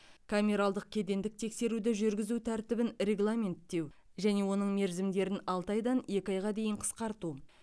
камералдық кедендік тексеруді жүргізу тәртібін регламенттеу және оның мерзімдерін алты айдан екі айға дейін қысқарту